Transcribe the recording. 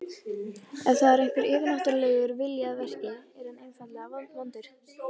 Ef þar er einhver yfirnáttúrulegur vilji að verki, er hann einfaldlega vondur.